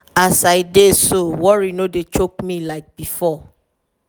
as i dey so worry no dey choke me like before.